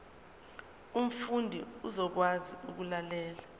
umfundi uzokwazi ukulalela